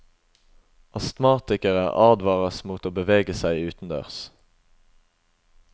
Astmatikere advares mot å beveges seg utendørs.